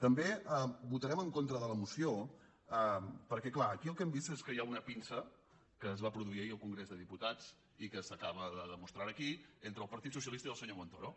també votarem en contra de la moció perquè és clar aquí el que hem vist és que hi ha una pinça que es va produir ahir al congrés dels diputats i que s’acaba de demostrar ara aquí entre el partit socialista i el senyor montoro